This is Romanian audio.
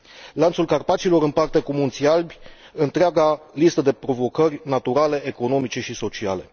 Lanțul Carpaților împarte cu Munții Alpi întreaga listă de provocări naturale, economice și sociale.